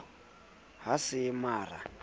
ha se mara ha se